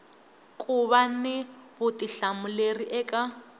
ku va ni vutihlamuleri eka